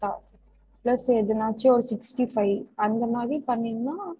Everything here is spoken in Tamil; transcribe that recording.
உம் உம் உம்